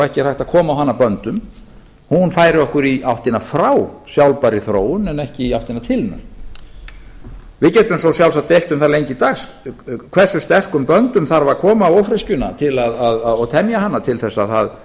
ekki er hægt að koma á hana böndum hún færi okkur í áttina frá sjálfbærri þróun en ekki í áttina til hennar við getum svo sjálfsagt deilt um það lengi dags hversu sterkum böndum þarf að koma á ófreskjuna og temja hana til þess að það